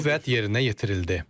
Bu vəd yerinə yetirildi.